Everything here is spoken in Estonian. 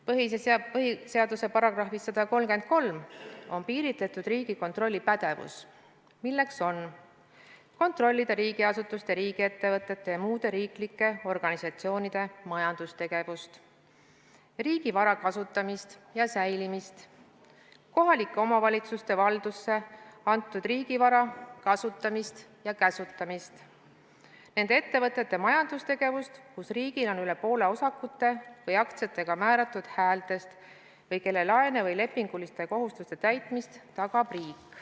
Põhiseaduse §-s 133 on piiritletud Riigikontrolli pädevus, milleks on kontrollida riigiasutuste, riigiettevõtete ja muude riiklike organisatsioonide majandustegevust; riigivara kasutamist ja säilimist; kohalike omavalitsuste valdusse antud riigivara kasutamist ja käsutamist, nende ettevõtete majandustegevust, kus riigil on üle poole osakute või aktsiatega määratud häältest või kelle laene või lepinguliste kohustuste täitmist tagab riik.